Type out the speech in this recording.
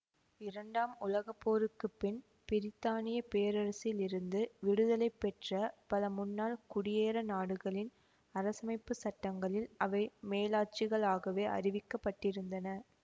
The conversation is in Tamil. இரண்டாம் உலக போருக்கு பின் பிரித்தானிய பேரரசிலிருந்து விடுதலை பெற்ற பல முன்னாள் குடியேற நாடுகளின் அரசமைப்பு சட்டங்களில் அவை மேலாட்சிகளாகவே அறிவிக்கப்பட்டிருந்தன